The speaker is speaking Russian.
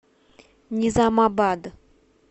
низамабад